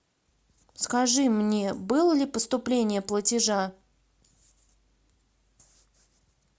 скажи мне было ли поступление платежа